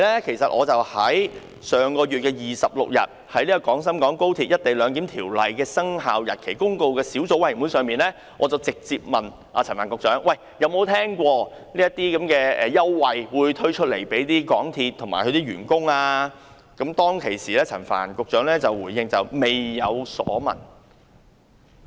其實，上月26日我在《〈廣深港高鐵條例〉公告》小組委員會，已直接詢問陳帆局長曾否聽聞港鐵公司會推出這些員工優惠，當時陳帆局長回應表示未有所聞。